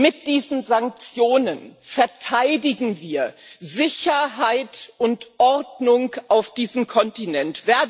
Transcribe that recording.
Mit diesen Sanktionen verteidigen wir Sicherheit und Ordnung auf diesem Kontinent.